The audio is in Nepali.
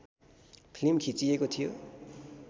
फिल्म खिचिएको थियो